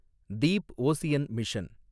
Deep ocean mission